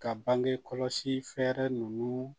Ka bangekɔlɔsi fɛɛrɛ ninnu